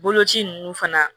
Boloci ninnu fana